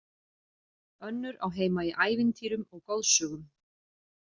Önnur á heima í ævintýrum og goðsögum.